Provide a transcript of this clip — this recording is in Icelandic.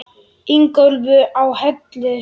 Ingólfi á Hellu.